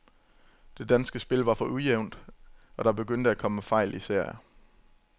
Det danske spil var for ujævnt, og der begyndte at komme fejl i serier.